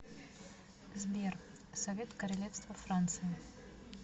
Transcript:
сбер совет королевство франция